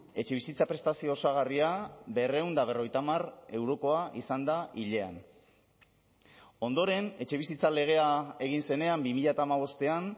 etxebizitza prestazio osagarria berrehun eta berrogeita hamar eurokoa izan da hilean ondoren etxebizitza legea egin zenean bi mila hamabostean